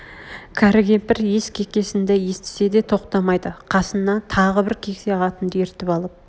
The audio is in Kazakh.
кәрі кемпір иіс кекеснді естсе де тоқтамайды қасына тағы бір кексе қатынды ертіп алып